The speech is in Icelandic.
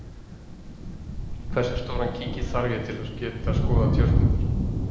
Hversu stóran kíki þarf ég til að geta skoðað stjörnurnar?